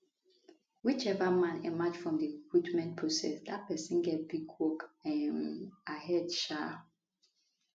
whichever man emerge from di recruitment process dat pesin get big work um ahead um